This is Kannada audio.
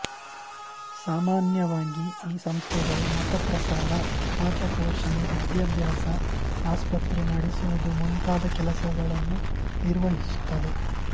ಸಾಮಾನ್ಯವಾಗಿ ಈ ಸಂಸ್ಥೆಗಳು ಮತಪ್ರಸಾರ ಅನಾಥಪೋಷಣೆ ವಿದ್ಯಾಭ್ಯಾಸ ಆಸ್ಪತ್ರೆ ನಡೆಸುವುದುಮುಂತಾದ ಕೆಲಸಗಳನ್ನು ನಿರ್ವಹಿಸುತ್ತವೆ